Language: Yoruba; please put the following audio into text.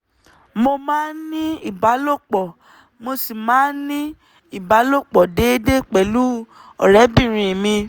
mo máa ń ní ìbálòpọ̀ mo sì máa ń ní ìbálòpọ̀ déédé pẹ̀lú ọ̀rẹ́bìnrin mi